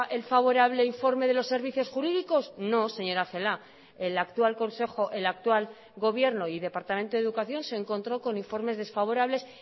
el favorable informe de los servicios jurídicos no señora celaá el actual consejo el actual gobierno y departamento de educación se encontró con informes desfavorables